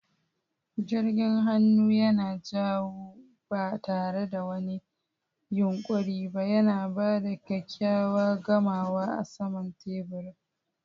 Jirgin hannu yana yawo ba tare da wani yunƙuri ba, yana ba da kyakkyawan gamawa a saman teburin.